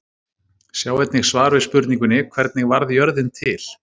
Sjá einnig svar við spurningunni: Hvernig varð jörðin til?